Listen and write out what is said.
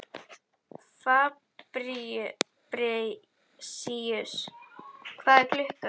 Fabrisíus, hvað er klukkan?